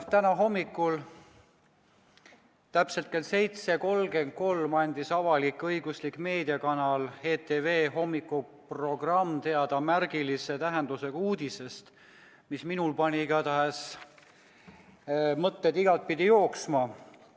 Täna hommikul täpselt kell 7.33 anti avalik-õigusliku meediakanali ETV hommikuprogrammis teada märgilise tähendusega uudis, mis minul pani igatahes mõtted igatpidi jooksma.